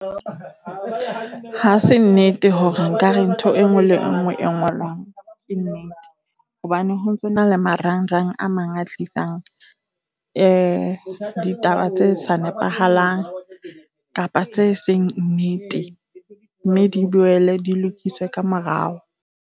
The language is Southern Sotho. Ha se nnete hore nkare ntho e nngwe le nngwe e ngolwang hobane ho ntsona le marangrang a mang a tlisang ditaba tse sa nepahalang kapa tse seng nnete, mme di boele di lokiswe ka morao.